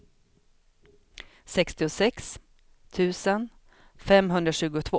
sextiosex tusen femhundratjugotvå